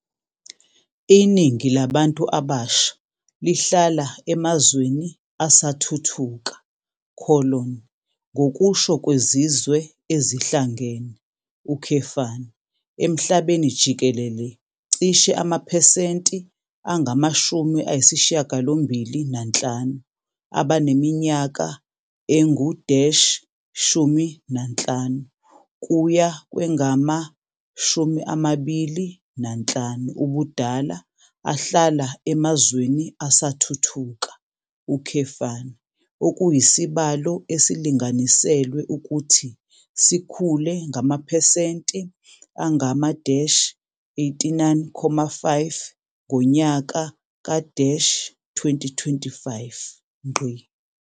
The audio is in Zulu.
Iningi labantu abasha lihlala emazweni asathuthuka - ngokusho kweZizwe Ezihlangene, emhlabeni jikelele cishe amaphesenti angama-85 abaneminyaka engu-15 kuya kwengama-25 ubudala ahlala emazweni asathuthuka, okuyisibalo esilinganiselwe ukuthi sikhule ngamaphesenti angama-89.5 ngonyaka ka-2025.